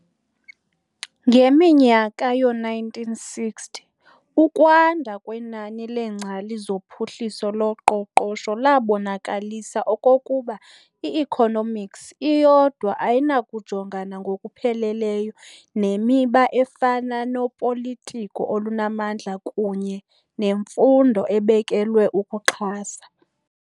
Ngeminyaka yoo-1960, ukwanda kwenani leengcali zophuhliso loqoqosho labonakalisa okokuba i-economics iyodwa ayinakujongana ngokupheleleyo nemiba efana nopolitiko olunamandla kunye nemfundo ebekelwe ukuxhasa.